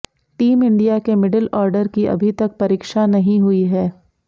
team India के middle order की अभी तक परीक्षा नहीं हुई है